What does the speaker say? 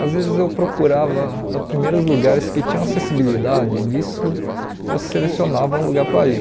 Às vezes eu procurava primeiro os lugares que tinham acessibilidade e disso eu selecionava um lugar para ir.